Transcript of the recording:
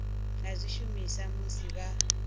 nga zwi shumisa musi vha